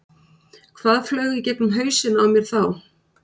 Hvað flaug í gegnum hausinn á mér þá?